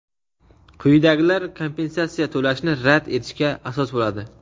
Quyidagilar kompensatsiya to‘lashni rad etishga asos bo‘ladi:.